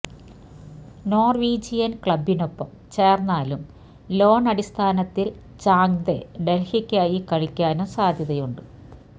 Norwegian ക്ലബിനൊപ്പം ചേർന്നാലും loan അടിസ്ഥാനത്തിൽ ചാങ്തെ ഡെൽഹിക്കായി കളിക്കാനും സാധ്യതയുണ്ട്